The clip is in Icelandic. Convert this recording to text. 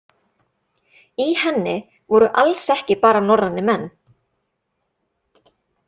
Í henni voru alls ekki bara norrænir menn.